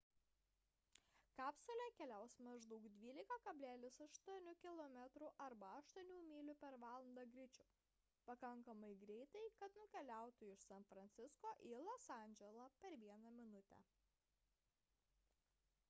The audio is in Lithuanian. kapsulė keliaus maždaug 12,8 kilometrų arba 8 mylių per valandą greičiu – pakankamai greitai kad nukeliautų iš san francisko į los andželą per vieną minutę